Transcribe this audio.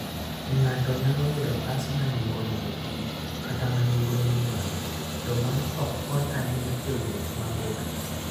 Ng'ato nyalo yudo bas ma nengone ni piny, kata ma nengone ni malo, to mano ok kony ahinya e wuoth mabor.